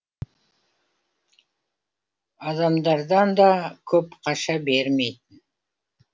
адамдардан да көп қаша бермейтін